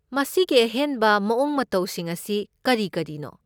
ꯃꯁꯤꯒꯤ ꯑꯍꯦꯟꯕ ꯃꯑꯣꯡ ꯃꯇꯧꯁꯤꯡ ꯑꯁꯤ ꯀꯔꯤ ꯀꯔꯤꯅꯣ?